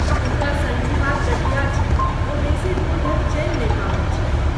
हुनका सन्धिवात गठिया छनि, ओ बेसी दूर धरि चलि नहि पबैत छथि।